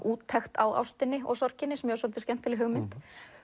úttekt á ástinni og sorginni sem mér fannst svolítið skemmtileg hugmynd